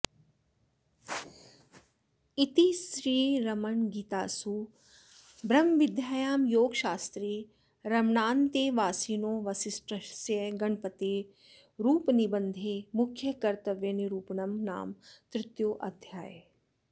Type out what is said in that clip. इति श्रीरमणगीतासु ब्रह्मविद्यायां योगशास्त्रे रमणान्तेवासिनो वासिष्ठस्य गणपतेरुपनिबन्धे मुख्यकर्तव्यनिरूपणं नाम तृतीयोऽध्यायः